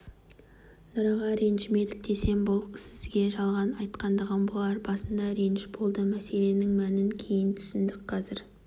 нұраға ренжімедік десем бұл сізге жалған айтқандығым болар басында реніш болды мәселенің мәнін кейін түсіндік қазір